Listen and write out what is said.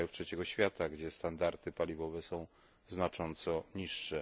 z krajów trzeciego świata, gdzie standardy paliwowe są znacząco niższe.